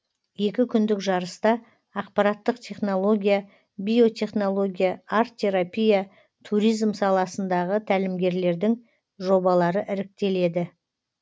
екі күндік жарыста ақпараттық технология биотехнология арт терапия туризм саласындағы тәлімгерлердің жобалары іріктеледі